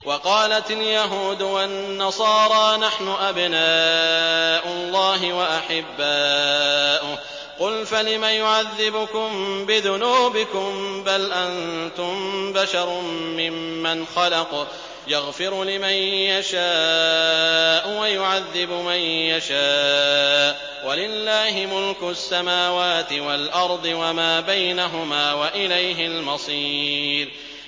وَقَالَتِ الْيَهُودُ وَالنَّصَارَىٰ نَحْنُ أَبْنَاءُ اللَّهِ وَأَحِبَّاؤُهُ ۚ قُلْ فَلِمَ يُعَذِّبُكُم بِذُنُوبِكُم ۖ بَلْ أَنتُم بَشَرٌ مِّمَّنْ خَلَقَ ۚ يَغْفِرُ لِمَن يَشَاءُ وَيُعَذِّبُ مَن يَشَاءُ ۚ وَلِلَّهِ مُلْكُ السَّمَاوَاتِ وَالْأَرْضِ وَمَا بَيْنَهُمَا ۖ وَإِلَيْهِ الْمَصِيرُ